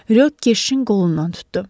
Ryo Keşin qolundan tutdu.